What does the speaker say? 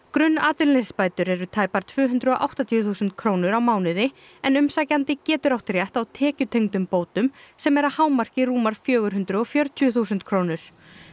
grunnatvinnuleysisbætur eru tæpar tvö hundruð og áttatíu þúsund krónur á mánuði en umsækjandi getur átt rétt á tekjutengdum bótum sem eru að hámarki rúmar fjögur hundruð og fjörutíu þúsund krónur